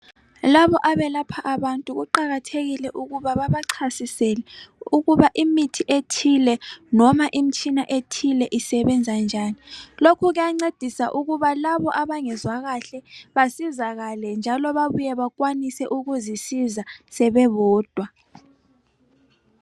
Labo abelapha abantu kuqakathekile ukuba baba chasisele ukuba imithi ethile noma imitshina ethile isebenza njani lokhu kuyancedisa ukuba labo abangezwa kahle basizakale njalo babuye bakwanise ukuzisiza sebebodwa .